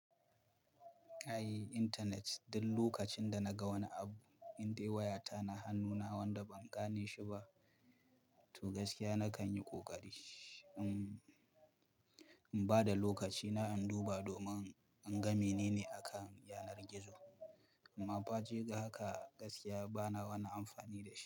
Ai internet, duk lokacin da naga wani abu indai wayata na hannuna wanda ban gane shi ba, to gaskiya na kan yi ƙoƙari in, in ba da lokacina in duba domin in ga menene akan yanar gizo. Amma faje ga haka gaskiya bana wani amfani da shi.